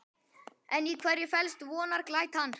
En í hverju felst vonarglætan?